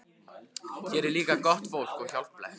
Hér er líka gott fólk og hjálplegt.